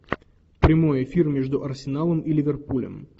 прямой эфир между арсеналом и ливерпулем